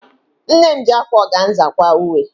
Nne m ji ákwá ọganza kwaa uwe.